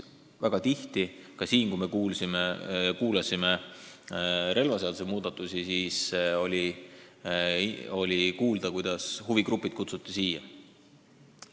Väga tihti, näiteks relvaseaduse muudatuste puhul, on kuulda olnud, et siia kutsuti ka huvigrupid.